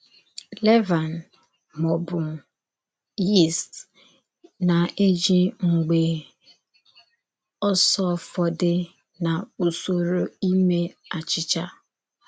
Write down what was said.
Lèvàn, mà ọ̀ bụ yíst, na-èjì mgbe ọ̀sọ̀fọ̀dé nà Ụ́sọ̀rụ̀ ímè àchịchà.